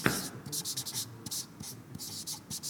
покажи последний выпуск крипи кэт